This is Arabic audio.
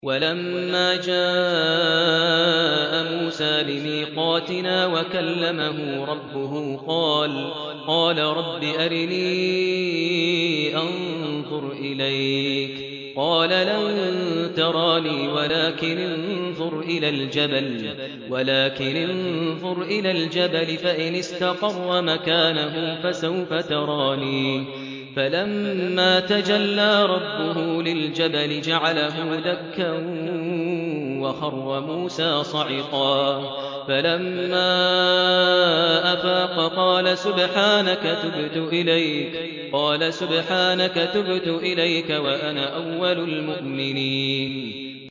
وَلَمَّا جَاءَ مُوسَىٰ لِمِيقَاتِنَا وَكَلَّمَهُ رَبُّهُ قَالَ رَبِّ أَرِنِي أَنظُرْ إِلَيْكَ ۚ قَالَ لَن تَرَانِي وَلَٰكِنِ انظُرْ إِلَى الْجَبَلِ فَإِنِ اسْتَقَرَّ مَكَانَهُ فَسَوْفَ تَرَانِي ۚ فَلَمَّا تَجَلَّىٰ رَبُّهُ لِلْجَبَلِ جَعَلَهُ دَكًّا وَخَرَّ مُوسَىٰ صَعِقًا ۚ فَلَمَّا أَفَاقَ قَالَ سُبْحَانَكَ تُبْتُ إِلَيْكَ وَأَنَا أَوَّلُ الْمُؤْمِنِينَ